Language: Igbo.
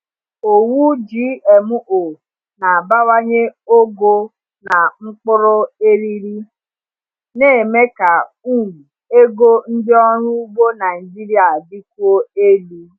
Owu GMO na-abawanye ogo na mkpụrụ eriri, na-eme ka um ego ndị ọrụ ugbo Naijiria dịkwuo elu.